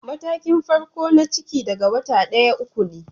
Matakin farko na ciki daga wata daya- uku ne.